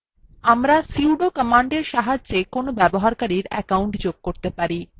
আমরা sudo command সাহায্যে কোনো ব্যবহারকারীর অ্যাকাউন্ট যোগ করতে পারি